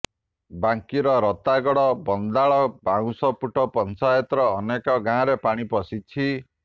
ବାଙ୍କିର ରତାଗଡ଼ ବନ୍ଦାଳ ବାଉଁଶପୁଟ ପଞ୍ଚାୟତର ଅନେକ ଗାଁରେ ପାଣି ପଶିଛି